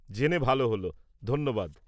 জেনে ভাল হল, ধন্যবাদ।